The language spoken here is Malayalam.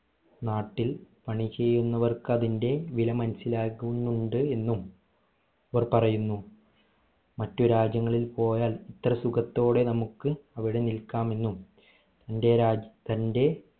നാട്ടിൽ പണി ചെയ്യുന്നവർക്ക് അതിന്റെ വില മനസ്സിലാകുന്നുണ്ട് എന്നും അവർ പറയുന്നു മറ്റു രാജ്യങ്ങളിൽ പോയാൽ ഇത്ര സുഖത്തോടെ നമ്മക്ക് അവിടെ നിൽക്കാമെന്നും ഇന്ത്യ രാജ്യ തന്റെ